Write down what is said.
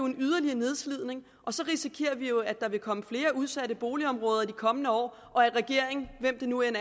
en yderligere nedslidning og så risikerer vi at der vil komme flere udsatte boligområder i de kommende år og at regeringen hvem den nu end